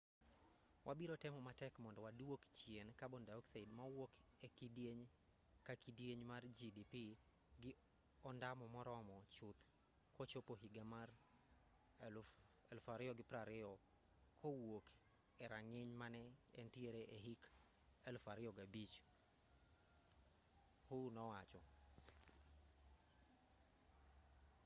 wabiro temo matek mondo waduok chien carbon dioxide mawuok e kidieny ka kidieny mar gdp gi ondamo moromo chuth kochopo higa mar 2020 kowuok e rang'iny mane entiere e hik 2005 hu nowacho